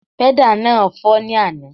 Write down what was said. Pẹ́dà náà fọ́ ní àná